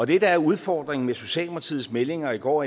det der er udfordringen med socialdemokratiets meldinger i går